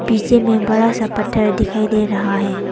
पीछे में बड़ा सा पत्थर दिखाई दे रहा है।